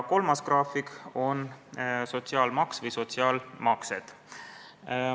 Kolmas graafik on sotsiaalmaks või sotsiaalmaksed.